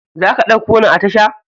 Zaka ɗauko ni a tasha?